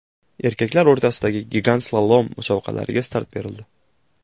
Erkaklar o‘rtasidagi gigant slalom musobaqalariga start berildi.